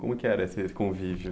Como que era esse convívio?